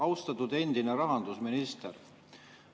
Austatud endine rahandusminister!